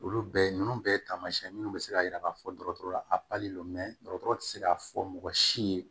Olu bɛɛ ninnu bɛɛ ye taamasiyɛn minnu bɛ se k'a jira k'a fɔ dɔgɔtɔrɔya a don dɔgɔtɔrɔ tɛ se k'a fɔ mɔgɔ si ye